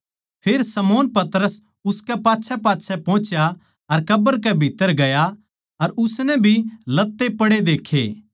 फेर शमौन पतरस उसकै पाच्छैपाच्छै पोहुच्या अर कब्र कै भीत्त्तर गया अर उसनै भी लत्ते पड़े देक्खे